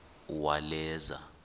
uwaleza